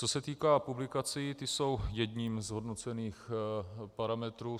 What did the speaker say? Co se týká publikací, ty jsou jedním z hodnocených parametrů.